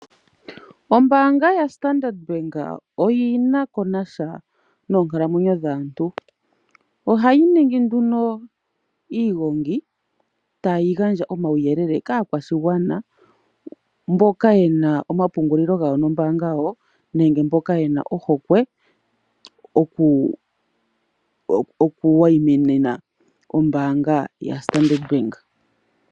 Ombaanga yaStandard Bank oyi na ko na sha noonkalamwenyo dhaantu ohayi ningi nduno iigongi tayi gandja omauyelele kaakwashigwana mboka ye na omapungulilo gawo nombaanga yawo nenge mboka ye na ohokwe okuwayimina ombaanga yawo yoStandard Bank.